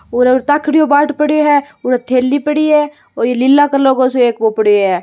और अट्ठ ताकडियो बाट पड्यो है और अट्ठ थैली पड़ी है और ये लीला कलर को सो पड्यो है।